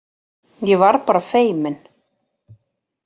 Ég var bara feimin!